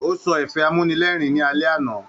O sọ ẹ̀fẹ̀ amúnírẹ́rìn ní alẹ́ àna.